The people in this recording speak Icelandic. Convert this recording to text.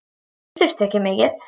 Hann þurfti ekki mikið.